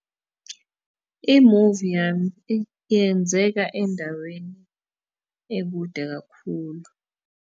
Imuvi yami yenzeka endaweni ekude kakhulu.